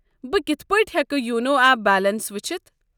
بہٕ کتھ پٲٹھۍ ہٮ۪کہٕ یونو ایپ بیلنس وُچھِتھ؟